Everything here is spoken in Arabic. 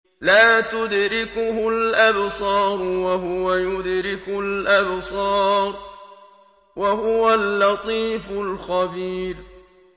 لَّا تُدْرِكُهُ الْأَبْصَارُ وَهُوَ يُدْرِكُ الْأَبْصَارَ ۖ وَهُوَ اللَّطِيفُ الْخَبِيرُ